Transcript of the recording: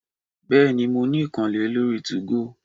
Bèéní, mó ni ìkànnlé lórí 2go